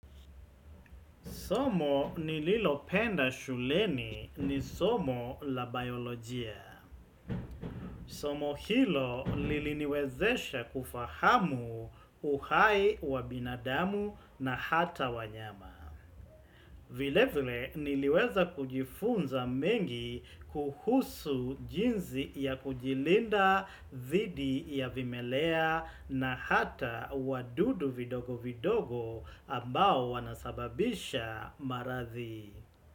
Somo nililopenda shuleni ni somo la biolojia. Somo hilo liliniwezesha kufahamu uhai wa binadamu na hata wanyama. Vile vile niliweza kujifunza mengi kuhusu jinsi ya kujilinda zidi ya vimelea na hata wadudu vidogo vidogo ambao wanasababisha maradhi.